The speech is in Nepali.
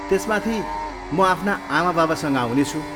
त्यसमाथि, म आफ्ना आमाबाबासँग आउनेछु।